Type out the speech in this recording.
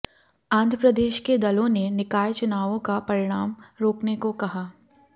आंध्र प्रदेश के दलों ने निकाय चुनावों का परिणाम रोकने को कहा